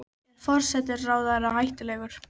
Er forsætisráðherra hættulegur?